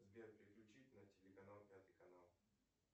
сбер переключить на телеканал пятый канал